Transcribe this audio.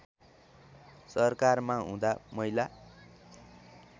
सरकारमा हुँदा महिला